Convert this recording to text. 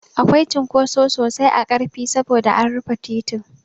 Akwai cunkoso sosai a Ƙarfi saboda an rufe titin.